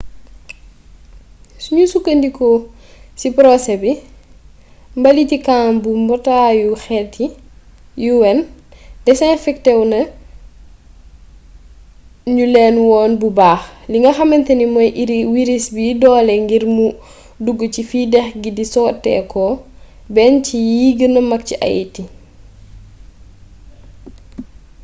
sunu sukkndikoo ci porosé bi mbaliiti kan bu mbootaayu xeet yi un desinfektewu ñu leen woon bu baax li nga xamantane mey wiris bi doole ngir mu duggu ci fi dex gi di soteekoo benn ci yi gëna mag ci haïti